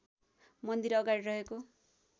मन्दिर अगाडि रहेको